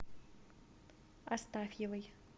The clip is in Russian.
астафьевой